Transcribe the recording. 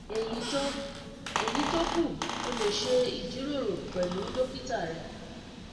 ẹyí tó ẹyí tó kù o lè ṣe ìjíròrò pẹlú dókítà rẹ